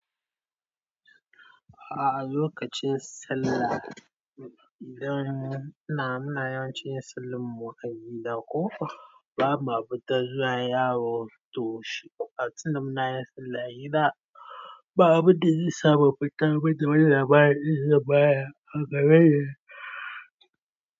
A, lokacin sallah idan muna yawancin yin sallan mu a gida ko bama fitar zuwa yawo to shi a cikin da muna yin sallah a gida babu da zai samu fita badda wani labari da zai bayar a gare shi.